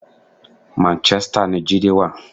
Manchester ni Jídé wà.